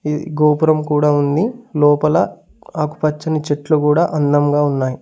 గోపురం కూడా ఉంది లోపల ఆకు పచ్చని చెట్లు గూడా అందంగా ఉన్నాయి.